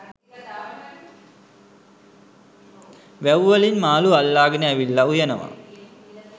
වැව් වලින් මාළු අල්ලාගෙන ඇවිල්ල උයනවා.